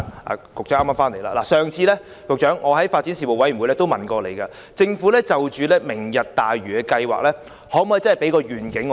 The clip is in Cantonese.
我上次曾在發展事務委員會會議上詢問局長，政府可否就"明日大嶼"計劃向我們提供願景？